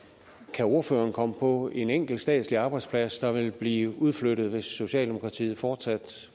kan ordføreren komme på en enkelt statslig arbejdsplads der vil blive udflyttet hvis socialdemokratiet fortsat